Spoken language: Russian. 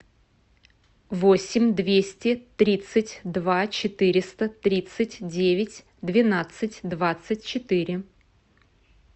восемь двести тридцать два четыреста тридцать девять двенадцать двадцать четыре